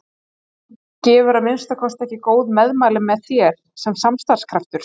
Þú gefur að minnsta kosti ekki góð meðmæli með þér sem starfskraftur